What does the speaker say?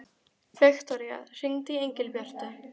Viktoría, hringdu í Engilbjörtu.